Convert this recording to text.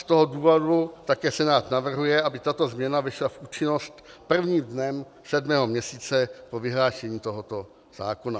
Z toho důvodu také Senát navrhuje, aby tato změna vešla v účinnost prvním dnem sedmého měsíce po vyhlášení tohoto zákona.